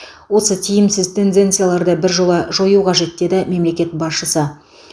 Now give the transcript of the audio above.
осы тиімсіз тенденцияларды біржола жою қажет деді мемлекет басшысы